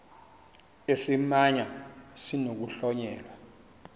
esi simamva sinokuhlonyelwa